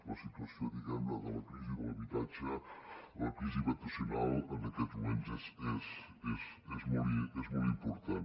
la situació diguem ne de la crisi de l’habitatge la crisi habitacional en aquests moments és molt important